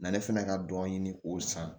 Na ne fɛnɛ ka dɔ ɲini k'o san